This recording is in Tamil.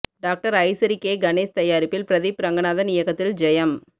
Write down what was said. டாக்டர் ஐசரி கே கணேஷ் தயாரிப்பில் பிரதீப் ரங்கநாதன் இயக்கத்தில் ஜெயம்